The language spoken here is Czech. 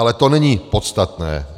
Ale to není podstatné.